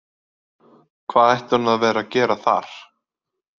Hvað ætti hún að vera að gera þar?